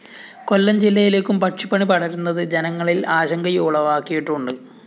കൊല്ലം ജില്ലയിലേക്കും പക്ഷിപ്പനി പടരുന്നത് ജനങ്ങളില്‍ ആശങ്കയുളവാക്കിയിട്ടുണ്ട്